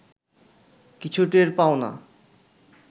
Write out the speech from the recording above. কিছু টের পাও না